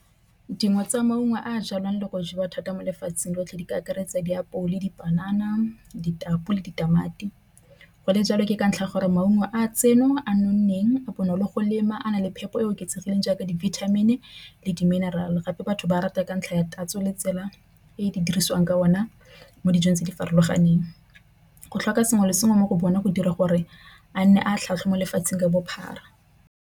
Dingwe tsa maungo a jalwang le go jewa thata mo lefatsheng lotlhe di ka akaretsa diapole dipanana, ditapole, ditamati. Go le jalo ke ka ntlha ya gore maungo a tseno a nonneng bonolo go lema a na le phepo e e oketsegileng jaaka di-vitamin le di-mineral. Gape batho ba rata ka ntlha ya tatso le tsela e di dirisiwang ka ona mo dijong tse di farologaneng go tlhoka sengwe le sengwe mo go bona go dira gore a nne a tlhatlhwa mo lefatsheng ka bophara.